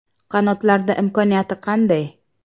Qanotlarda imkoniyati qanday?